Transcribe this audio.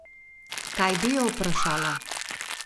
Kaj bi jo vprašala?